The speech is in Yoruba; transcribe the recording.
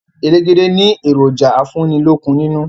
Elégédé ni èròjà afúnílókun nínú